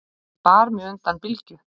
sem bar mig undan bylgju